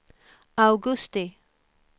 augusti